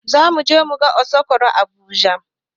Zamuje muga aso rok a habuja